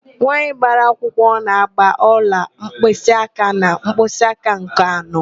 Nwaanyị gbara akwụkwọ na-ágbà ọla mkpịsịáká na mkpịsịáká nke anọ.